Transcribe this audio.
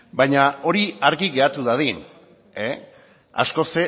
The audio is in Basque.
baina hori argi geratu dadin askoz